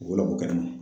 U la ko kɛnɛ ma